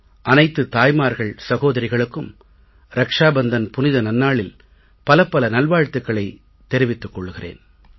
அனைத்துத் தாய்மார்கள் சகோதரிகளுக்கும் ரக்ஷா பந்தன் புனித நன்னாளில் பலப்பல நல்வாழ்த்துக்களைத் தெரிவித்துக் கொள்கிறேன்